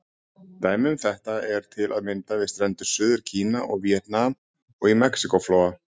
Dæmi um þetta eru til að mynda við strendur Suður-Kína og Víetnam, og í Mexíkó-flóa.